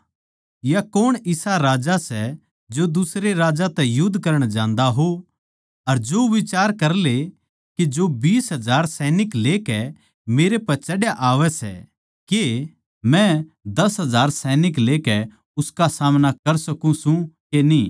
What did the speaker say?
या कौण इसा राजा सै जो दुसरे राजा तै युध्द करण जान्दा हो अर जो बिचार करले के जो बीस हजार लेकै मेरै पै चढ़या आवै सै के मै दस हजार लेकै उसका सामणा कर सकूँ सूं के न्ही